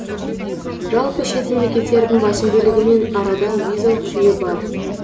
жалпы шет мемлекеттердің басым бөлігімен арада визалық жүйе бар